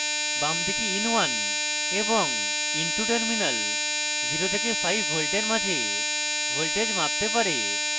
বামদিকে in1 এবং in2 terminals 0 থেকে 5v এর মাঝে voltage মাপতে পারে